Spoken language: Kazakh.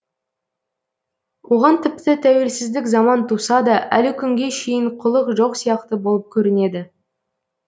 оған тіпті тәуелсіздік заман туса да әлі күнге шейін құлық жоқ сияқты болып көрінеді